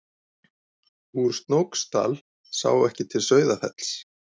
Úr Snóksdal sá ekki til Sauðafells.